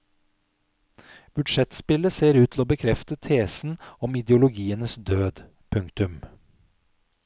Budsjettspillet ser ut til å bekrefte tesen om ideologienes død. punktum